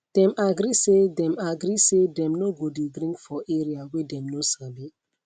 them agree say them agree say them no go dey drink for area whey them no sabi